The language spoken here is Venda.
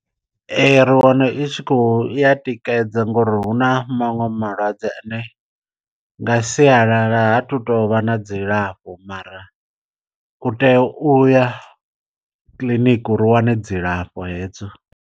Ri wana i tshi kho ya tikedza ngori huna maṅwe malwadze ane nga sialala ha tu tovha na dzilafho mara u tea u ya kiḽiniki u ri u wane dzilafho hedzo.